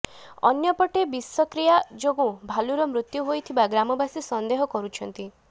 ଅନ୍ୟପଟେ ବିଷକ୍ରିୟା ଯୋଗୁଁ ଭାଲୁର ମୃତ୍ୟୁ ହୋଇଥିବା ଗ୍ରାମବାସୀ ସନ୍ଦେହ କରୁଛନ୍ତି